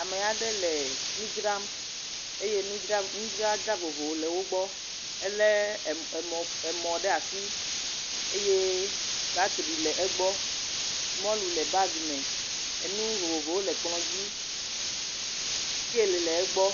Ame aɖe le nu dzram eye nudzra nudzraɖa vovovo le wo gbɔ, elé emɔ ɖe asi eye bateri le egbɔ, mɔlu le bagi me nu vovovowo le kplɔ dzi sikali le egbɔ.